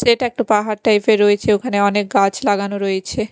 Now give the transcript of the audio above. সেটা একটা পাহাড় টাইপ -এর রয়েছে ওখানে অনেক গাছ লাগানো রয়েছে।